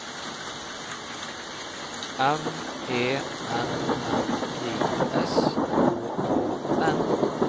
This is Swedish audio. M Ä N N I S K A N